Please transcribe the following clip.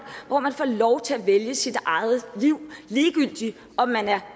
hvor man får lov til at vælge sit eget liv ligegyldigt om man er